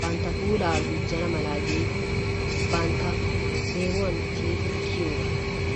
bantta puulaa gujjana mala giidi bantta deemuwan tiyidi kiyiyoogaa.